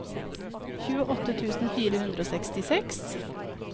tjueåtte tusen fire hundre og sekstiseks